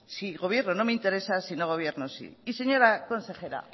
si gobierno no me interesa si no gobierno sí y señora consejera